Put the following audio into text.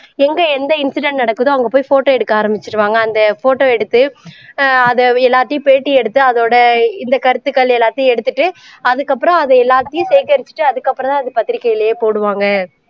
எங்க எந்த incident நடக்குதோ அங்க போய் photo எடுக்க ஆரமிச்சுடுவாங்க அந்த photo எடுத்து ஆஹ் அதை எல்லாத்தையும் பேட்டி எடுத்து அதோட இந்த கருத்துகள் எல்லாத்தையும் எடுத்துட்டு அதுக்கப்பறம் அது எல்லாத்தையும் சேகரிச்சுட்டு அதுக்கப்பறம் தான் அதை பத்திரிக்கையிலேயே போடுவாங்க